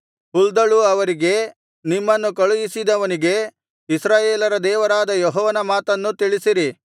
ಹುಲ್ದಳು ಅವರಿಗೆ ನಿಮ್ಮನ್ನು ಕಳುಹಿಸಿದವನಿಗೆ ಇಸ್ರಾಯೇಲರ ದೇವರಾದ ಯೆಹೋವನ ಮಾತನ್ನು ತಿಳಿಸಿರಿ